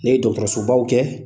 Ne ye dɔgɔtɔrɔsobaw kɛ